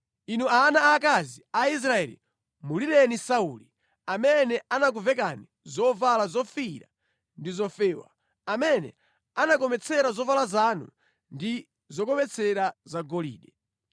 “Inu ana aakazi a Israeli, mulireni Sauli, amene anakuvekani zovala zofiira ndi zofewa, amene anakometsera zovala zanu ndi zokometsera zagolide.